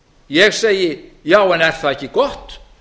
ég segi já en er það ekki gott